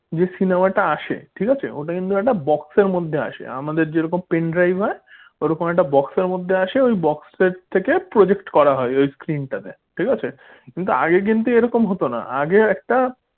যে cinema টা আসে ঠিক আছে ওটা কিন্তু একটা box র মধ্যে আসে আমাদের যেরকম pen drive হয় ঐরকম একটা box র মধ্যে আসে ওই box র থেকে project করা হয় ওই screen টাতে কিন্তু আগে কিন্তু এই রকম হতো না আগে একটা